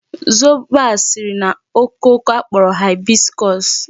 Zobo a siri na okooko a kporo hibiscus.